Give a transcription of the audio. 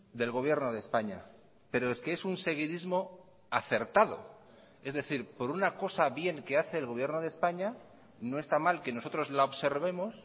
del gobierno de españa pero es que es un seguidismo acertado es decir por una cosa bien que hace el gobierno de españa no está mal que nosotros la observemos